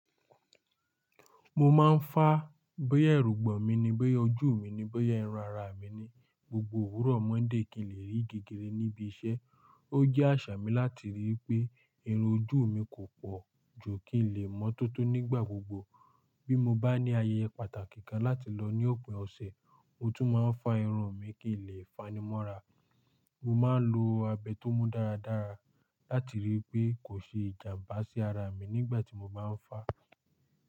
Mo máa ń fá boya èrùgbọ̀ mi ni, boya ojú mi ni, boya irun ara mi ni. Gbogbo òwúrọ̀ Monday kí n lè rí gègé níbi iṣẹ́. Ó jẹ́ àṣà mi láti rí i pé irun ojú mi kò pọ̀ ju kí n lè mọ́ tótó nígbà gbogbo. Bí mo bá ní ayẹyẹ pàtàkì kan láti lọ ní òpin ọ̀sẹ̀, mo tún máa ń fá irun mi kí n lè fani mọ́ra. Mo máa ń lo abẹ tó mú dáradára láti rí i pé kò ṣe ìjàǹbá sí ara mi nígbà tí mo bá ń fá.